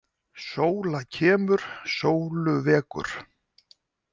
Sóla kemur sólu vekur.